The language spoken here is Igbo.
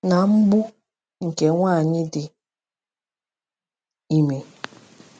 na mgbu nke nwanyị dị ime.